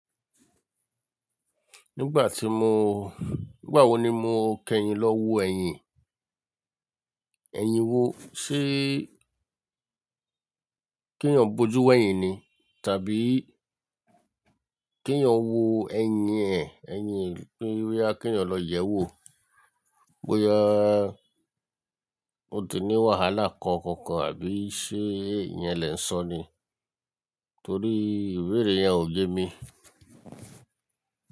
Nígbà tí mo, nígbà wo ni mo kẹ́yìn lọ́ wo ẹ̀yìn? Ẹ̀yìn wo? Ṣé ki eyan boju wẹ́yìn ni? Tàbí kẹ́yan wo ẹ̀yìn ẹ̀, ẹ̀yìn pé irú ẹni kẹ́yan lọ yẹ̀wò. Bóyá, o tì ní wàhálà kankàn kan àbí ṣe ìyẹn lẹ̀ ń sọ ni? Torí ìbéèrè yẹn ò gé mi.